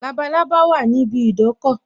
Labalábá wà ní ibi idọ́kọ̀